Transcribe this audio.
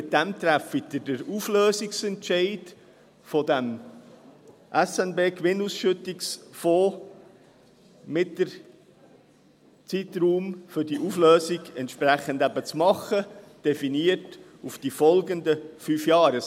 Damit treffen Sie den Auflösungsentscheid für den SNB-Gewinnausschüttungsfonds und definieren den Zeitraum für die Auflösung auf die folgenden fünf Jahre.